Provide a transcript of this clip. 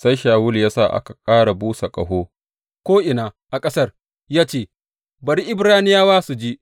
Sai Shawulu ya sa aka busa ƙaho ko’ina a ƙasar ya ce, Bari Ibraniyawa su ji!